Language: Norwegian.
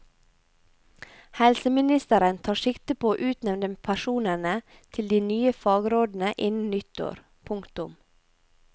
Helseministeren tar sikte på å utnevne personene til de nye fagrådene innen nyttår. punktum